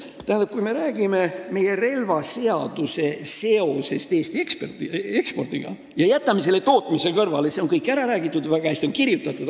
Tähendab, kui me räägime meie relvaseaduse seosest Eesti ekspordiga ja jätame tootmise kõrvale, siis kõigest sellest on räägitud, sellest on väga hästi kirjutatud.